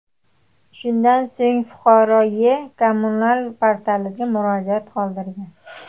Shundan so‘ng fuqaro E-kommunal portalida murojaat qoldirgan.